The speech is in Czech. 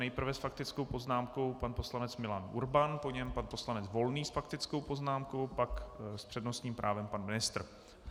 Nejprve s faktickou poznámkou pan poslanec Milan Urban, po něm pan poslanec Volný s faktickou poznámkou, pak s přednostním právem pan ministr.